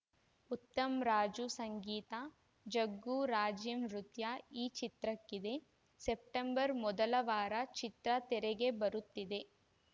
ಉತ್ತಮ್‌ ರಾಜು ಸಂಗೀತ ಜಗ್ಗು ರಾಜೀವ್‌ ನೃತ್ಯ ಈ ಚಿತ್ರಕ್ಕಿದೆ ಸೆಪ್ಟೆಂಬರ್‌ ಮೊದಲ ವಾರ ಚಿತ್ರ ತೆರೆಗೆ ಬರುತ್ತಿದೆ